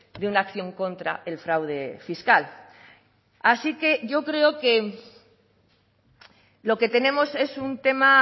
de una acción contra el fraude fiscal así que yo creo que lo que tenemos es un tema